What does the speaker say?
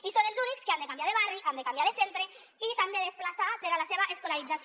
i són els únics que han de canviar de barri han de canviar de centre i s’han de desplaçar per a la seva escolarització